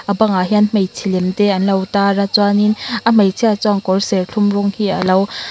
bangah hian hmeichhe lem te anlo tar a chuanin a hmeichhia chuan kawr serthlum rawng hi alo.